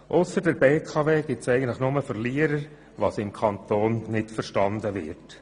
Ausser der BKW gibt es eigentlich nur Verlierer, was im Kanton nicht verstanden wird.